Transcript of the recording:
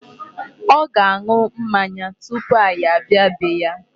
Ọ ga-aṅụ mmanya tupu anyị abịa bee ya.